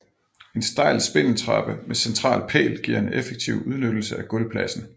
En stejl spindeltrappe med central pæl giver en effektiv udnyttelse af gulvpladsen